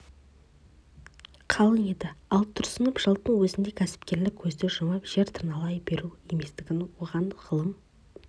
қалың еді ал тұрсынов жылдың өзінде кәсіпкерлік көзді жұмып жер тырналай беру еместігін оған ғылым